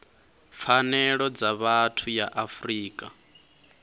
pfanelo dza vhathu ya afrika